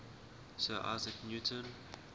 sir isaac newton